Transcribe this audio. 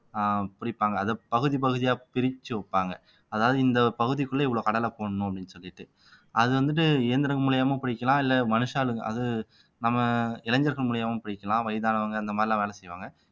அஹ் புடிப்பாங்க அதை பகுதி பகுதியா பிரிச்சு வைப்பாங்க அதாவது இந்த பகுதிக்குள்ள இவ்வளவு கடலை போடணும் அப்படின்னு சொல்லிட்டு அது வந்துட்டு இயந்திரங்கள் மூலியமா பிடிக்கலாம் இல்லை மனுஷாளுங்க அது நம்ம இளைஞர்கள் மூலியமாவும் பிடிக்கலாம் வயதானவங்க அந்த மாதிரி எல்லாம் வேலை செய்வாங்க